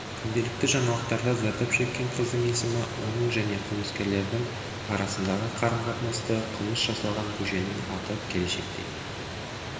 күнделікті жаңалықтарда зардап шеккен қыздың есімі оның және қылмыскерлердің арасындағы қарым-қатынасты қылмыс жасалған көшенің аты келешекте